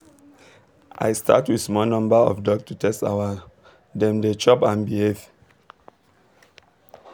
i start with small number of duck to test our dem dey chop and behave